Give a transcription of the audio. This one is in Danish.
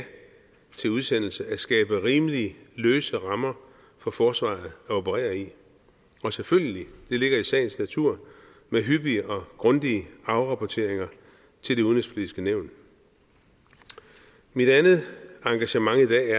til udsendelse at at skabe rimelig løse rammer for forsvaret at operere i og selvfølgelig det ligger i sagens natur med hyppige og grundige afrapporteringer til det udenrigspolitiske nævn mit andet engagement i dag